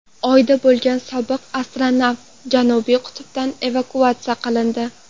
Oyda bo‘lgan sobiq astronavt Janubiy qutbdan evakuatsiya qilindi.